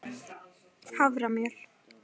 haframjöl